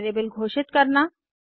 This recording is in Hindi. वेरिएबल घोषित करना